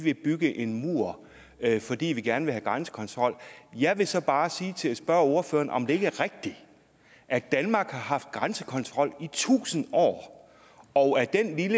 vil bygge en mur fordi vi gerne vil have grænsekontrol jeg vil så bare spørge ordføreren om det ikke er rigtigt at danmark har haft grænsekontrol i tusind år og